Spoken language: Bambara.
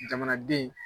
Jamanaden